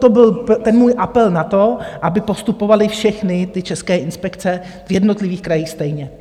To byl ten můj apel na to, aby postupovaly všechny ty české inspekce v jednotlivých krajích stejně.